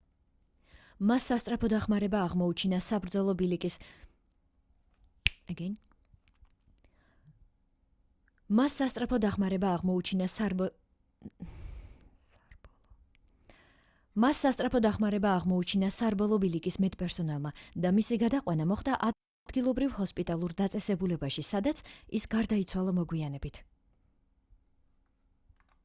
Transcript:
მას სასწრაფო დახმარება აღმოუჩინა სარბოლო ბილიკის მედპერსონალმა და მისი გადაყვანა მოხდა ადგილობრივ ჰოსპიტალურ დაწესებულებაში სადაც ის გარდაიცვალა მოგვიანებით